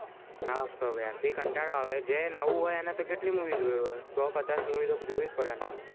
હસ તો યાર કાંતડો આવે જે નવું હોય એને કેટલી movie જોવી પડે સો પચાસ મૂવી તો જોવી પડે